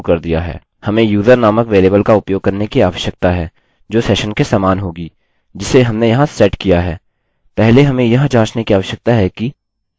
हम user नामक variable का उपयोग करने की आवश्यकता है जो सेशन के समान होगी जिसे हमने यहाँ सेट किया है